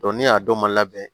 ne y'a dɔn ma labɛn